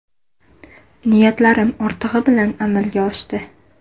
Niyatlarim ortig‘i bilan amalga oshdi.